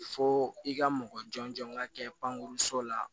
Fo i ka mɔgɔ jɔn jɔn ka kɛ pankuruso la